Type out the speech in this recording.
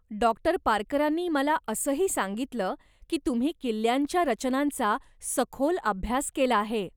Doctor पारकरांनी मला असं ही सांगितलं की तुम्ही किल्ल्यांच्या रचनांचा सखोल अभ्यास केला आहे.